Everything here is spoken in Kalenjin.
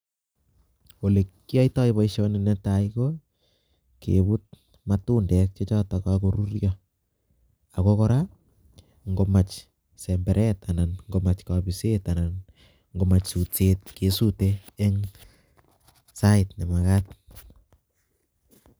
olekiaitoi paishonitok netai ko, keput matundek chechotok kakoruryo. ako kora ngomach semberet, anan ngomach kabiset, anan ngomach sutset kesutei eng sait nemagat.